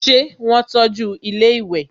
ṣé wọ́n tọ́ju ilẹ́ ìwẹ̀?